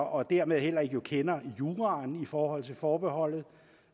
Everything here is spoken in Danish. og dermed heller ikke kender juraen i forhold til forbeholdet